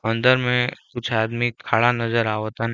अंदर में कुछ आदमी खड़ा नज़र आवतन।